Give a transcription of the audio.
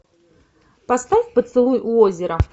поставь поцелуй у озера